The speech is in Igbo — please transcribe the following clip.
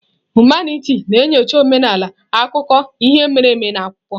Humanitị na-enyocha omenala, akụkọ ihe mere eme na akwụkwọ.